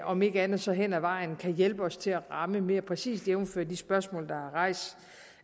om ikke andet så hen ad vejen kan hjælpe os til at ramme mere præcist jævnfør de spørgsmål der er rejst